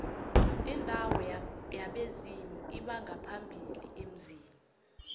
indawo yabezimu lbongaphambili emzini